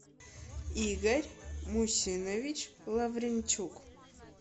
игорь мусинович лавренчук